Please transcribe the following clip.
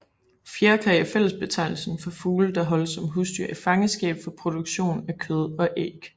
Fjerkræ er fællesbetegnelsen for fugle der holdes som husdyr i fangenskab for produktion af kød eller æg